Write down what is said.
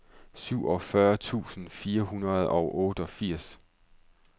fireogfyrre tusind fire hundrede og otteogfirs